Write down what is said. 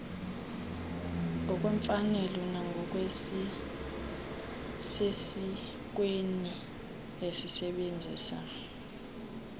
ngokwemfanelo nangokusesikweni esebenzisa